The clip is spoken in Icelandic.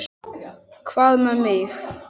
Hvað með mig?